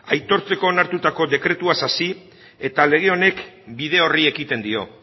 aitortzeko onartutako dekretuaz hasi eta lege honek bide horri ekiten dio